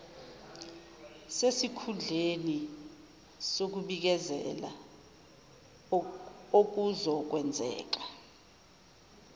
sesikhundleni sokubikezela okuzokwenzeka